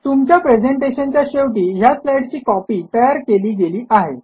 तुमच्या प्रेझेंटेशनच्या शेवटी ह्या स्लाईडची कॉपी तयार केली गेली आहे